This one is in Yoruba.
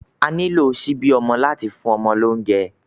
À nilo ṣibi ọmọ lati fun ọmọ lounjẹ